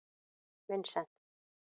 Vincent